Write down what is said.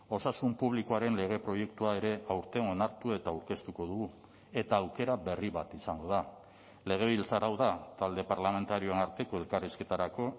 osasun publikoaren lege proiektua ere aurten onartu eta aurkeztuko dugu eta aukera berri bat izango da legebiltzar hau da talde parlamentarioen arteko elkarrizketarako